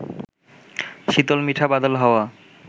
শীতল মিঠা বাদল হাওয়া